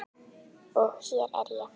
Og hér er ég.